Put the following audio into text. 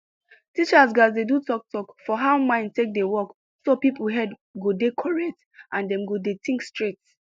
teachers gatz dey do talk talk for how mind take dey work so people head go dey correct and dem go dey think straight